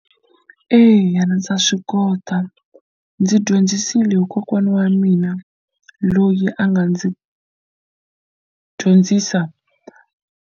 Eya ndza swi kota ndzi dyondzisile hi kokwana wa mina loyi a nga ndzi dyondzisa.